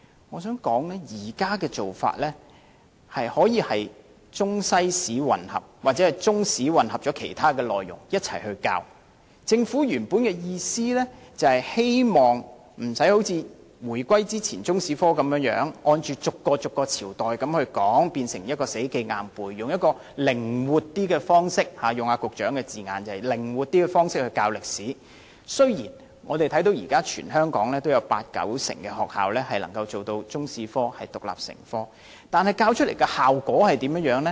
我想指出，現時容許中、西史混合，或中史混合其他學科一同教授，政府的原意是希望中史科不用像回歸前那樣，逐個朝代去教，學生要死記硬背，而用一個比較靈活的方式教授歷史，如此一來，雖然全香港現時約有八九成學校能將中史獨立成科，但教授的效果如何？